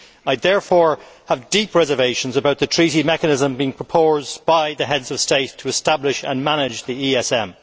I therefore have deep reservations about the Treaty mechanism being proposed by the Heads of State to establish and manage the ESM.